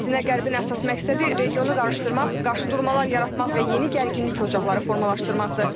Əksinə Qərbin əsas məqsədi regionu qarışdırmaq, qarşıdurmalar yaratmaq və yeni gərginlik ocaqları formalaşdırmaqdır.